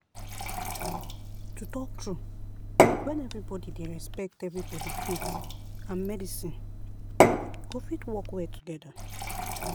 to talk true when everybody dey respect everybody faith and medicine go fit work well together.